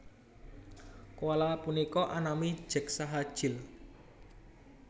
Koala punika anami Jack saha Jill